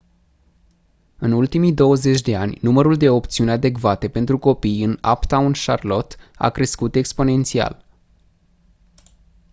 în ultimii 20 de ani numărul de opțiuni adecvate pentru copii în uptown charlotte a crescut exponențial